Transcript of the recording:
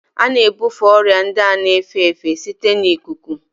A na-ebufe ọrịa ndị a na-efe efe site na ikuku